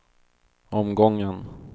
omgången